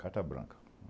Carta branca.